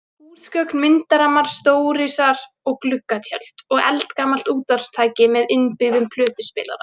Húsgögn, myndarammar, stórisar og gluggatjöld og eldgamalt útvarpstæki með innbyggðum plötuspilara.